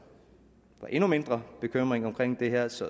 var endnu mindre bekymring omkring det her så